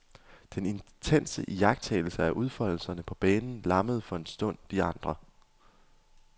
Den intense iagttagelse af udfoldelserne på banen lammede for en stund de andre.